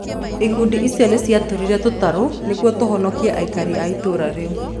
Ikundi icio nĩ ciatũmire tũtarũ nĩguo tũhonokie aikari a itũũra rĩu.